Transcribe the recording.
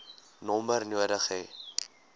nommer nodig hê